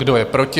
Kdo je proti?